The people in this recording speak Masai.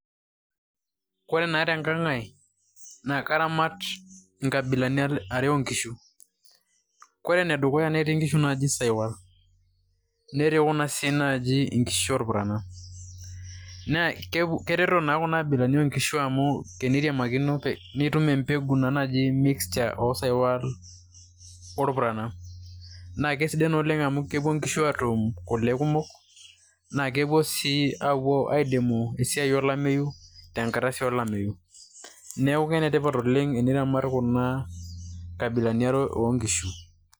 Koree naa te nkang' ai naa karamat inkabilani are oo nkishu. Kore ene dukuya netii inkishu najii sahiwal netii kuna sii naji inkishu oorpurrana. Naa kereto naa kuna abilani oo nkishu amu tenitiamakino nitum empegu naji mixer o sahiwal orpurrana, naake kesidai naa amu epuo inkishu atum kule kumok naake epuo sii apuo aidimu esiai olameyu tenkata sii olameyu, neeku enetipat oleng' eniramat kuna kabilani are oo nkishu.